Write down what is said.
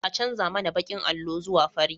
An canja mana bakin allo zuwa fari